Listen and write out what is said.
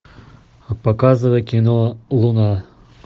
показывай кино луна